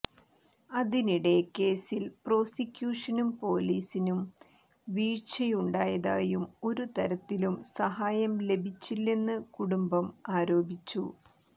അതിനിടെ കേസിൽ പ്രോസിക്യൂഷനും പൊലീസിനും വീഴ്ചയുണ്ടായതായും ഒരു തരത്തിലും സഹായം ലഭിച്ചില്ലെന്ന് കുടുംബം ആരോപിച്ചു